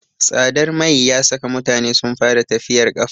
Tsadar mai ya saka mutane sun fara tafiyar ƙafa.